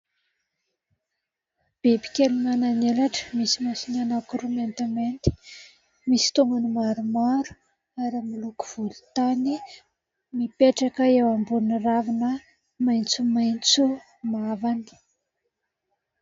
Biby kely manana elatra misy masony anankiroa mainty mainty misy tongony maromaro ary miloko volontany mipetraka eo ambony ravina maitso maitso mavana.